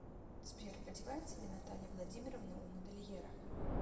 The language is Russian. сбер одевается ли наталья владимировна у модельера